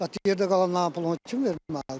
Bəs bu yerdə qalanların pulunu kim verməlidir?